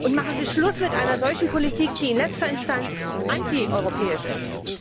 Machen Sie Schluss mit einer solchen Politik, die in letzter Instanz antieuropäisch ist.